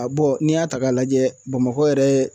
A n'i y'a ta k'a lajɛ Bamakɔ yɛrɛ